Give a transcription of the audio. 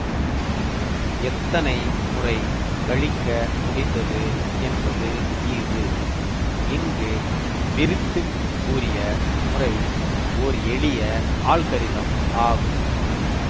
எத்தனை முறை கழிக்க முடிந்தது என்பது ஈவு இங்கு விரித்துக் கூறிய முறை ஓர் எளிய ஆல்கரிதம் ஆகும்